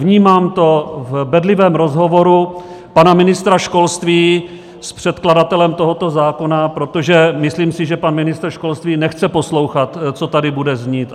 Vnímám to v bedlivém rozhovoru pana ministra školství s předkladatelem tohoto zákona , protože myslím si, že pan ministr školství nechce poslouchat, co tady bude znít.